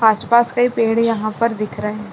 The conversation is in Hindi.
आसपास कई पेड़ यहाँ पर दिख रहे--